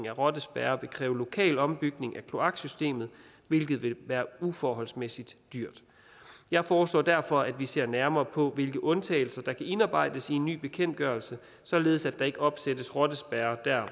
af rottespærrer vil kræve lokal ombygning af kloaksystemet hvilket vil være uforholdsmæssigt dyrt jeg foreslår derfor at vi ser nærmere på hvilke undtagelser der kan indarbejdes i en ny bekendtgørelse således at der ikke opsættes rottespærrer der